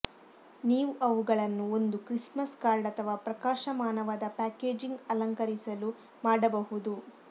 ನೀವು ಅವುಗಳನ್ನು ಒಂದು ಕ್ರಿಸ್ಮಸ್ ಕಾರ್ಡ್ ಅಥವಾ ಪ್ರಕಾಶಮಾನವಾದ ಪ್ಯಾಕೇಜಿಂಗ್ ಅಲಂಕರಿಸಲು ಮಾಡಬಹುದು